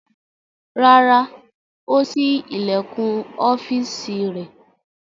Rárá, ó ṣí ilẹ̀kùn ọ́fíísì rẹ̀.